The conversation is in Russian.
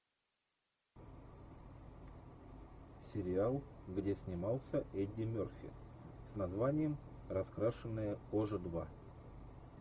сериал где снимался эдди мерфи с названием раскрашенная кожа два